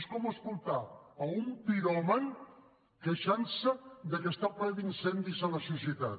és com escoltar un piròman queixantse que està plena d’incendis la societat